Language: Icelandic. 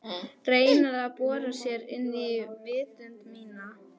Reynir að bora sér inn í vitund mína.